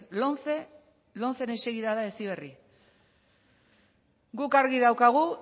lomceren segida da heziberri guk argi daukagu